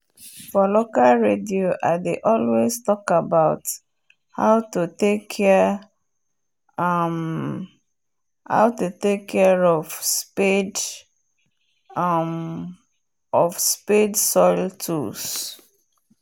for local radio i dey always talk about hot to take care um of spade um soil tools